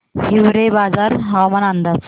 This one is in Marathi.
हिवरेबाजार हवामान अंदाज